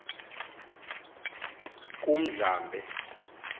kumdlambe